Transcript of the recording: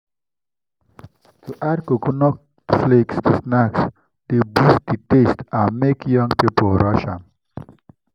to add coconut flakes to snacks dey boost the taste and make young people rush am.